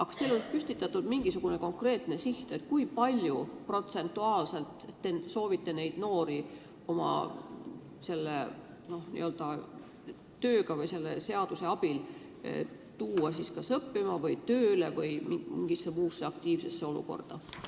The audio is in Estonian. Kas teil on püstitatud mingisugune konkreetne siht, kui palju protsentuaalselt te soovite neid noori selle seaduse abil kas õppima või tööle aidata või muul moel aktiviseerida?